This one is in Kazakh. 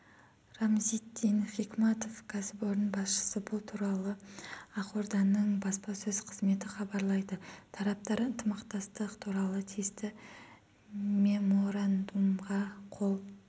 рамзитдин хикматов кәсіпорын басшысы бұл туралы ақорданың баспасөз қызметі хабарлайды тараптар ынтымақтастық туралы тиісті меморандумға қол